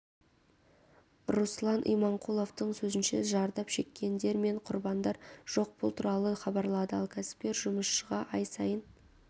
руслан иманқұловтың сөзінше зардап шеккендер мен құрбандар жоқ бұл туралы хабарлады ал кәспкер жұмысшыға ай сайын